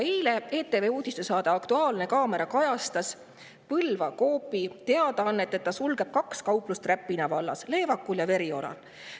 Eile kajastas ETV uudistesaade "Aktuaalne kaamera" Põlva Coopi teadaannet, et ta sulgeb kaks kauplust Räpina vallas: Leevakul ja Verioral.